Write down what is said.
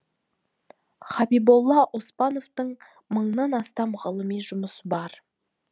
хабиболла оспановтың мыңнан астам ғылыми жұмысы бар